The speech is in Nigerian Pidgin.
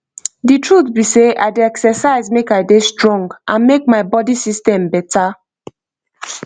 the truth be sey i dey exercise make i dey strong and make my body system better